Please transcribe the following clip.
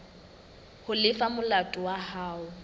ho lefa molato wa hao